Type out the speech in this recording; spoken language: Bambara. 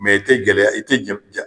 i tɛ gɛlɛya i tɛ ja